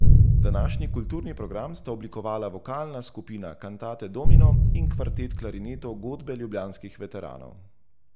Današnji kulturni program sta oblikovala vokalna skupina Cantate Domino in kvartet klarinetov Godbe ljubljanskih veteranov.